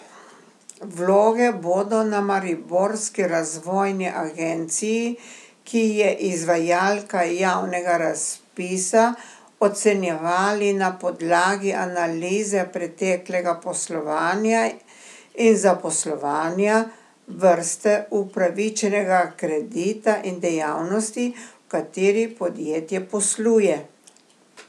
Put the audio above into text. Vloge bodo na Mariborski razvojni agenciji, ki je izvajalka javnega razpisa, ocenjevali na podlagi analize preteklega poslovanja in zaposlovanja, vrste upravičenega kredita in dejavnosti, v kateri podjetje posluje.